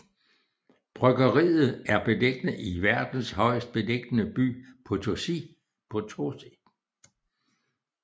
Bryggeriet er beliggende i verdens højest beliggende by Potosí